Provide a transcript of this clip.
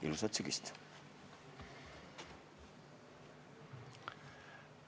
Ilusat sügist!